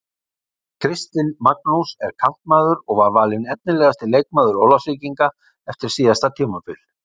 Kristinn Magnús er kantmaður og var valinn efnilegasti leikmaður Ólafsvíkinga eftir síðasta tímabil.